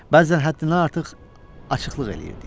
Bəzən həddindən artıq açıqlıq eləyirdik.